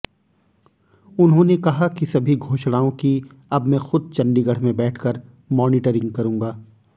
उन्होंने कहा कि सभी घोषणाओं की अब मैं खुद चंडीगढ़ में बैठकर मॉनिटरिंग करूंगा